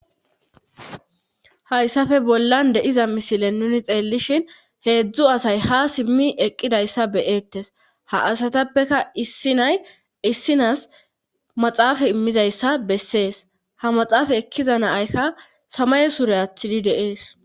Hayssafe bollan deiza misile nuni xeellishin heedzdzu asay ha simmi eqqidayssa beyeettes ha asatappeka issi nay issinas maxaafa immizayssa bessees ha maxaafa ekkiza naaykka samaye sure athidi deees.